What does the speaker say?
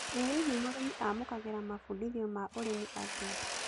ĩ hihi mũrĩmi amũkagĩra mambũndithio ma ũrĩmi atia